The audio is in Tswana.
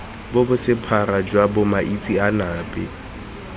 bo bo sephara jwa bomaitseanape